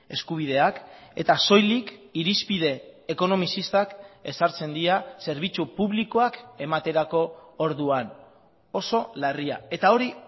eskubideak eta soilik irizpide ekonomizistak ezartzen dira zerbitzu publikoak ematerako orduan oso larria eta hori